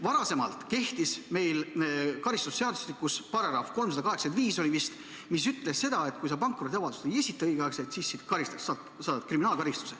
Varasemalt kehtis meil karistusseadustikus § 385, mis ütles seda, et kui sa õigel ajal pankrotiavaldust ei esita, siis sind karistatakse, saad kriminaalkaristuse.